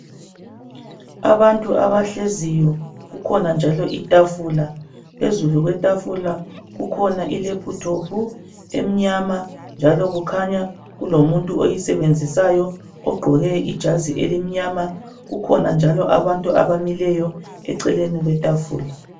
Abantu abahleziyo kukhona njalo itafula phezulu kwetafula kukhona ilaptop emnyama njalo kukhanya kulomuntu oyisebenzisayo ogqoke ijazi elimnyama kukhona abantu abamileyo eceleni kwetafula.